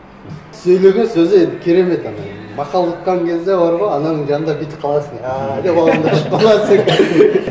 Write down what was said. сөйлеген сөзі енді керемет ана мақал айтқан кезде бар ғой ананың жанында бүйтіп қаласың ааа деп ауызыңды ашып қаласың